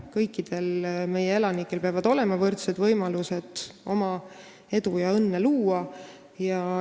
Kõikidel meie elanikel peavad olema võrdsed võimalused endale edu ja õnne luua.